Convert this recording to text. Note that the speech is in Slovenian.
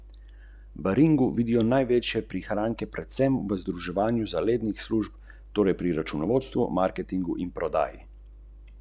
Ki je iz svojega življenja naredila tragični ljubezenski roman, iz sebe pa glavno in oboževano glavno junakinjo neuresničene mladostne romance?